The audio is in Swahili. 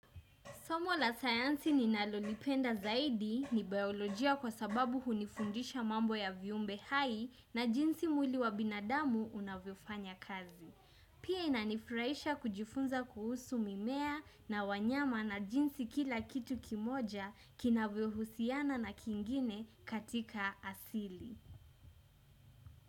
Somo la science ni nalolipenda zaidi ni biolojia kwa sababu hunifundisha mambo ya viumbe hai na jinsi mwili wa binadamu unavyo fanya kazi. Pia inanifuraisha kujifunza kuhusu mimea na wanyama na jinsi kila kitu kimoja kinavyo husiana na kingine katika asili.